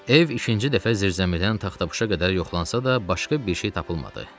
Ev ikinci dəfə zirzəmidən taxtapuşa qədər yoxlansa da, başqa bir şey tapılmadı.